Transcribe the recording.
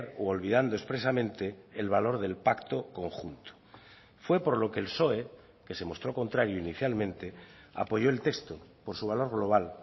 u olvidando expresamente el valor del pacto conjunto fue por lo que el psoe que se mostró contrario inicialmente apoyó el texto por su valor global